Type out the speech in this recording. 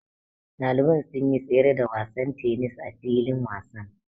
Ɗaliban sun yi tsere da wasan tennis a filin wasan.